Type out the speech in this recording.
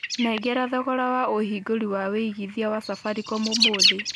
nengera thogora wa ũhingũri wa wĩigĩthĩa wa safaricom ũmũthi